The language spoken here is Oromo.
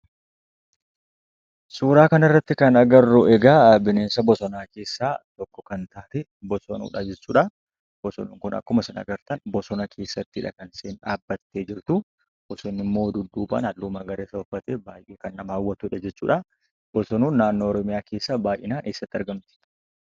Suuraa kanarratti kan arginu, bineensa bosonaa keessaa tokko kan taate, Bosonuudha jechuudha. Bosonuun kun, akkuma isin argitan, bosona keessattiidha kan isheen dhaabbattee jirtu. Halluu magariisa kan uffate, baay'ee nama hawwatudha. Bosonuun naannoo oromiyaatti baay'inaan eessatti argamti?